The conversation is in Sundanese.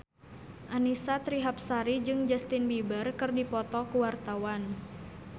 Annisa Trihapsari jeung Justin Beiber keur dipoto ku wartawan